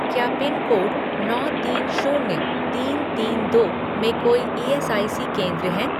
क्या पिनकोड नौ तीन शून्य तीन तीन दो में कोई ईएसआईसी केंद्र हैं?